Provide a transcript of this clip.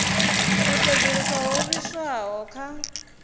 u sedzulusa ho livhiswaho kha